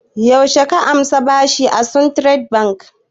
Yaushe ka ansa bashi daga suntrust bank?